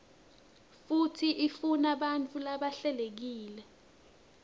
futsi ifunabantfu labahlelekile